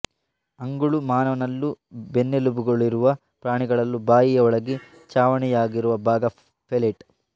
ಅಂಗುಳು ಮಾನವನಲ್ಲೂ ಬೆನ್ನೆಲುಬುಗಳಿರುವ ಪ್ರಾಣಿಗಳಲ್ಲೂ ಬಾಯಿಯ ಒಳಗೆ ಛಾವಣಿಯಾಗಿರುವ ಭಾಗ ಪೆಲೇಟ್